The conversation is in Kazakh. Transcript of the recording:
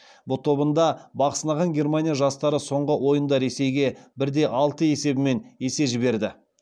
в тобында бақ сынаған германия жастары соңғы ойынында ресейге бір де алты есебімен есе жіберді